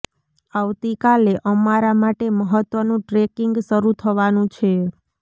આવતી કાલે અમારા માટે મહત્વનું ટ્રેકિંગ શરુ થવાનું છે